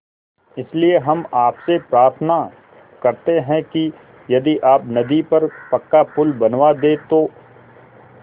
इसलिए हम आपसे प्रार्थना करते हैं कि यदि आप नदी पर पक्का पुल बनवा दे तो